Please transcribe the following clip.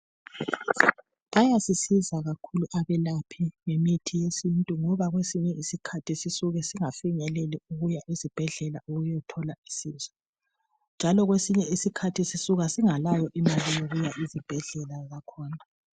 Bayasisiza kakhulu abelaphi besintu ngoba kwesinye isikhathi siyabe singafinyeleli ukuyafika esibhedlela ukuyathola usizo njalo kwesinye isikhathi sisuka singabilayo imali yokuya esibhedlela kakhulu.